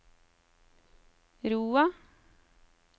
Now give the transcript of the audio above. Roa